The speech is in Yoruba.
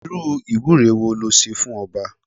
Irú ìwúre wo le ṣe fún ọba?